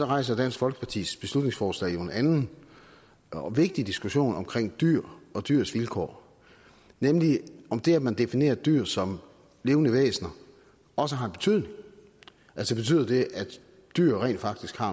rejser dansk folkepartis beslutningsforslag jo en anden og vigtig diskussion om dyr og dyrs vilkår nemlig om det at man definerer dyr som levende væsener også har en betydning altså betyder det at dyr rent faktisk har